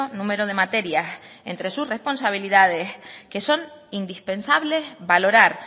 número de materias entre sus responsabilidades que son indispensables valorar